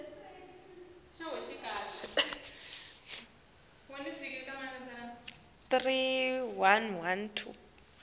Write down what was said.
bekangenandzaba